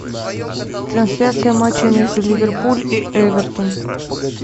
трансляция матча между ливерпуль и эвертон